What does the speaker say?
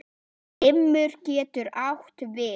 Limur getur átt við